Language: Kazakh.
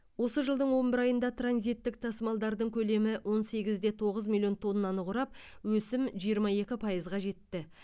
осы жылдың он бір айында транзиттік тасымалдардың көлемі он сегіз де тоғыз миллион тоннаны құрап өсім жиырма екі пайызға жетті